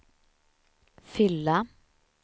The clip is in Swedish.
fylla